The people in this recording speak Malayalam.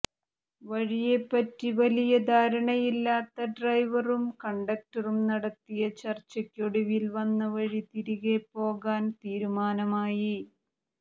വഴിയെപ്പറ്റി വലിയ ധാരണയില്ലാത്ത ഡ്രൈവറും കണ്ടക്ടറും നടത്തിയ ചർച്ചയ്ക്കൊടുവിൽ വന്നവഴി തിരികെപ്പോകാൻ തീരുമാനമായി